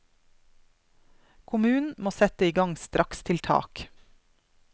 Kommunen må sette i gang strakstiltak.